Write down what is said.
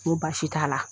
N ko baasi t'a la